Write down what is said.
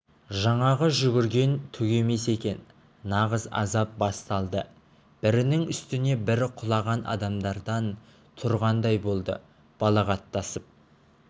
жаңағы жүгірген түк емес екен нағыз азап басталды бірінің үстіне бірі құлаған адамдардан тұрғандай болды балағаттасып